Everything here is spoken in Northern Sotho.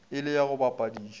e le ya go bapadiša